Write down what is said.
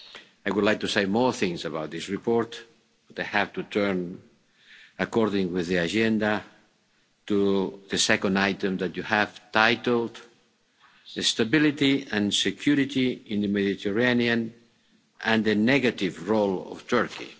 I would like to say more things about this report, but I have to turn according to the agenda to the second item that you have titled Stability and security in the Mediterranean and the negative role of Turkey'.